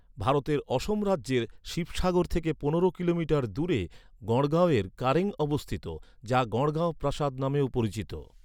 ভারতের অসম রাজ্যের শিবসাগর থেকে পনেরো কিলোমিটার দূরে গড়গাঁওয়ে কারেং অবস্থিত, যা গড়গাঁও প্রাসাদ নামেও পরিচিত।